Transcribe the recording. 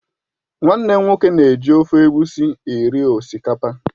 Nwannem nwoke na-ji ofe Egusi eri osikapa